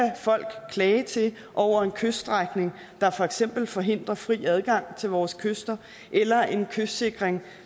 folk klage til over en kyststrækning der for eksempel forhindrer fri adgang til vores kyster eller en kystsikring